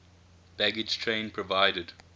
baggage train provided